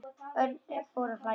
Örn fór að hlæja.